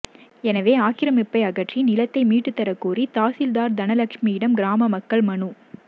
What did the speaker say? எனவே ஆக்கிரமிப்பை அகற்றி நிலத்தை மீட்டுத்தரக்கோரி தாசில்தார் தனலட்சுமியிடம் கிராம மக்கள் மனு